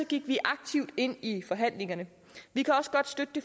gik vi aktivt ind i forhandlingerne vi kan godt støtte det